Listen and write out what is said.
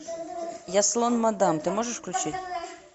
я слон мадам ты можешь включить